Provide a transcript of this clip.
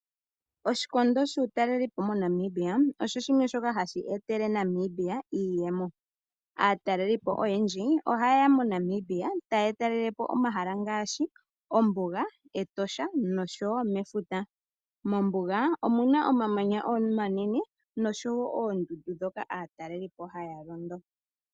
Oshikondo shokutalelapo moNamibia osho shimwe shoka hashi etele Namibia iiyemo. Aatalelipo oyendji ohaye ya moNamibia taya talelepo omahala ngaashi ombuga, etosha osho wo efuta. Mombuga omuna omamanya omanene nosho wo oondundu ndhoka aatalelipo haa londo.